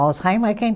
Alzheimer é quem